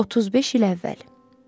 35 il əvvəl.